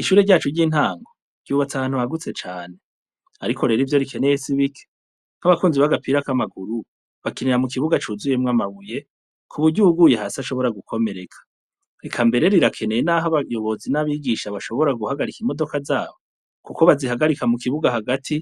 Ishure ryacu ry'intanko ryubatse ahantu hagutse cane, ariko rero ivyo rikeneye sibike nk'abakunzi bagapirak'amaguru bakenera mu kibuga cuzuyemwo amabuye ku buryuguye hasi ashobora gukomereka reka mbere rirakeneye, naho abayobozi n'abigisha bashobora guhagarika imodoka zabo, kuko bazihagarika mu kibuga hagati